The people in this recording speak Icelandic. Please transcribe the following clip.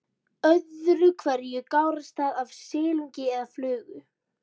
Öðru hverju gárast það af silungi eða flugu.